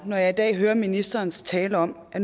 når jeg i dag hører ministerens tale om at